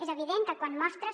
és evident que quan mostres